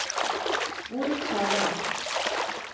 Bodil Skjæveland